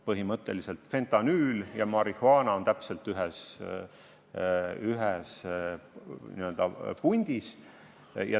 Põhimõtteliselt on fentanüül ja marihuaana ühes nii-öelda pundis.